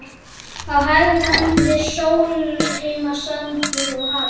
Á hægri hönd er Sólheimasandur og hafið.